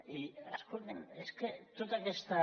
i escoltin és que tota aquesta